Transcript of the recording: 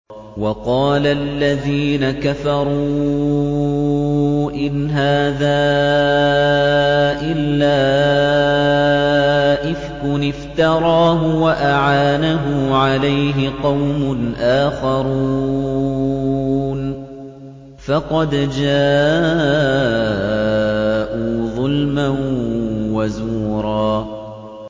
وَقَالَ الَّذِينَ كَفَرُوا إِنْ هَٰذَا إِلَّا إِفْكٌ افْتَرَاهُ وَأَعَانَهُ عَلَيْهِ قَوْمٌ آخَرُونَ ۖ فَقَدْ جَاءُوا ظُلْمًا وَزُورًا